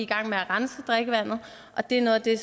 gang med at rense drikkevandet og det er noget af det